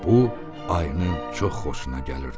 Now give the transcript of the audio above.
Bu ayının çox xoşuna gəlirdi.